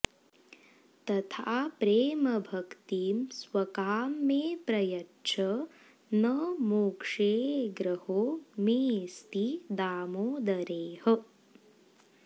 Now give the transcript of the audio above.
तथा प्रेमभक्तिं स्वकां मे प्रयच्छ न मोक्षेऽऽग्रहो मेऽस्ति दामोदरेह